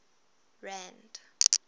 rand